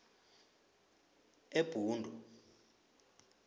ebhundu